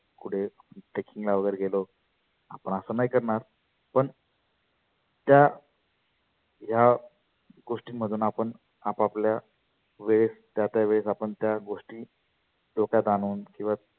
कुठे trekking ला वगैरे गेलो आपण आसं नाही करणार पण त्या या गोष्टिं मधुन आपण आप आपल्या वेळेस त्या त्या वेळेस आपण त्या गोष्टी डोक्यात आणुन किंवा